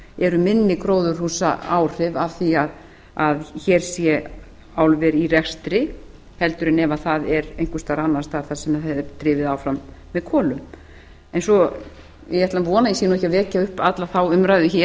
eru minni gróðurhúsaáhrif af því að hér sé álver í rekstri heldur en ef það er einhvers staðar annars staðar þar sem það er drifið áfram með kolum en ég ætla að vona að ég sé ekki að vekja upp alla þá umræðu hér